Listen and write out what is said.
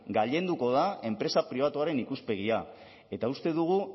gailenduko da enpresa pribatuaren ikuspegia eta uste dugu